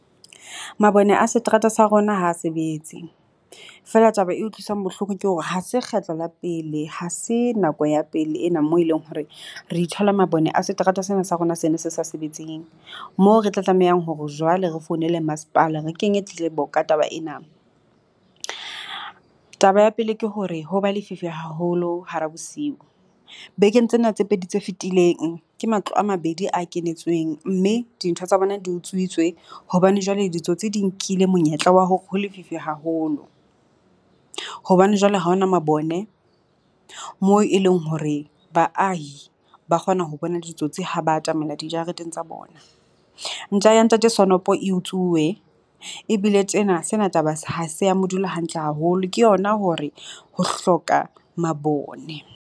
Mabone a seterata sa rona ha sebetse, feela taba e utlwisang bohloko ke hore ha se kgetlo la pele. Ha se nako ya pele ena mo eleng hore re ithola mabone a seterata sena sa rona sena se sa sebetseng, mo re tla tlamehang hore jwale re founele masepala re kenye tletlebo ka taba ena. Taba ya pele ke hore ho ba lefifi haholo hara bosiu. Bekeng tsena tse pedi tse fetileng ke matlo a mabedi a kenetsweng mme dintho tsa bona di utswitswe hobane jwale ditsotsi di nkile monyetla wa hore ho lefifi haholo. Hobane jwale ha ho na mabone moo e leng hore baahi ba kgona ho bona ditsotsi ha ba atamela dijareteng tsa bona. Ntja ya Ntate Sonopho e utsuwe ebile tjena sena taba ha se a mo dula hantle haholo ke yona hore ho hloka mabone.